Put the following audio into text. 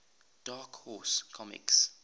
dark horse comics